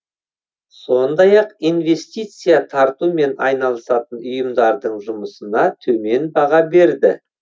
сондай ақ инвестиция тартумен айналысатын ұйымдардың жұмысына төмен баға берді